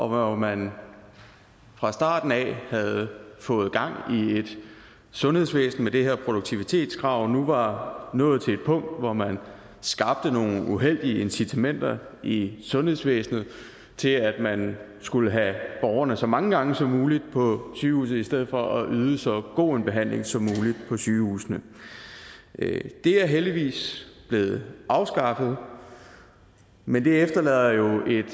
hvor man fra starten af havde fået gang i et sundhedsvæsen med det her produktivitetskrav og nu var nået til et punkt hvor man skabte nogle uheldige incitamenter i sundhedsvæsenet til at man skulle have borgerne så mange gange som muligt på sygehuset i stedet for at yde så god en behandling som muligt på sygehusene det er heldigvis blevet afskaffet men det efterlader jo et